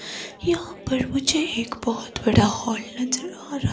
यहां पर मुझे एक बहुत बड़ा सा हॉल नज़र आ रहा--